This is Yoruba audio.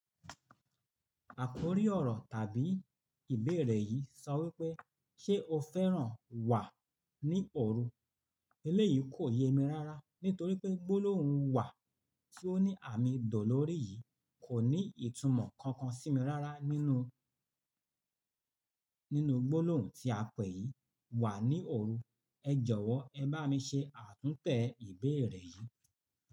Àkórí ọ̀rọ̀ tàbí ìbéèrè yìí sọ wípé, "Ṣé o fẹ́ràn Wà ní òru?" Eléyìí kò ye mi rára nítorí pé gbólóhùn Wà tí ó ní àmì dó lórí yìí kò ní ìtumọ̀ kankan sí mi rára nínú, nínú gbólóhùn tí a pè yìí Wà ní òru. Ẹ jọ̀wọ́ ẹ bá mi ṣe àtúntẹ̀ ìbéèrè yìí.